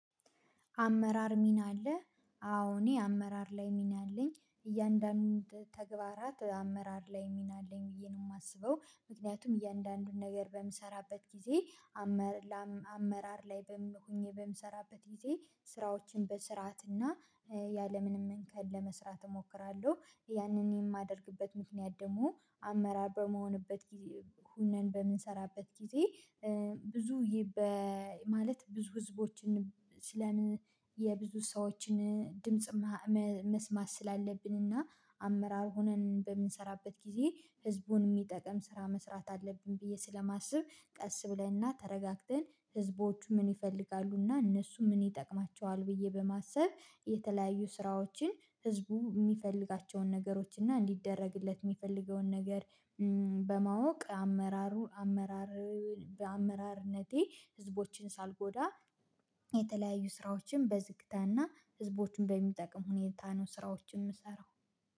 አመራር ሚና አለ አዎ እኔ አመራር ላይ ሚና አለኝ እያንዳንዱን ተግባራት አመራር ላይ ሚና አለኝ ብዬ ነው የማስበው ምክንያቱም እያንዳንዱን ነገር በምሰራበት ጊዜ አመራር ላይ በምሰራበት ጊዜ ስራዎችን በስርዓት እና ያለምንም እንከን ለመስራት እሞክራለሁ። ያንን የማደርግበት ምክንያት ደግሞ አመራር በምሆንበት ጊዜ ሁነን በምንሰራበት ጊዜ ብዙ ማለት ብዙ ህዝቦችን ስለምን የብዙ ሰዎችን ድምጽ መስማት ስላለብንና አመራር ሆነን በምንሰራበት ጊዜ። አመራር ሚና አለ አዎ እኔ አመራር ላይ ሚና አለኝ እያንዳንዱን ተግባራት አመራር ላይ ሚና አለኝ ብዬ ነው የማስበው። ምክንያቱም እያንዳንዱን ነገር በምሰራበት ጊዜ በማወቅ አመራሩን አመራር በአመራርነቴ ህዝቦችን ሳልጎዳ የተለያዩ ስራዎችን በዝግታና ህዝቦችን በሚጠቅም ሁኔታ ነው ስራዎችን የምሰራው።